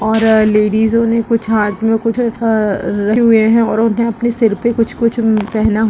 और लेडीजो ने कुछ हाथ में कुछ अ रख रखे हुए है और उन्हें अपने सिर पे कुछ कुछ पहना हुआ--